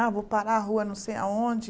Ah, vou parar a rua não sei aonde.